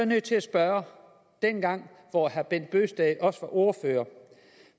nødt til at spørge dengang hvor herre bent bøgsted også var ordfører